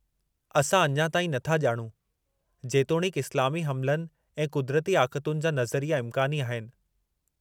असां अञा ताईं नथा ॼाणूं, जेतोणीकि इस्लामी हमिलनि ऐं क़ुदिरती आक़तुनि जा नज़रिया इमकानी आहिनि।